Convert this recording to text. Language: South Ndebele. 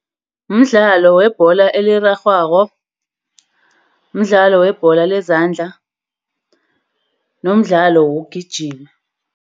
Mdlalo webhola elirarhwako. Mdlalo webhola lezandla. Nomdlalo wokugijima.